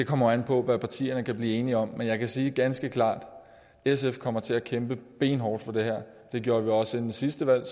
kommer an på hvad partierne kan blive enige om men jeg kan sige ganske klart at sf kommer til at kæmpe benhårdt for det her det gjorde vi også inden sidste valg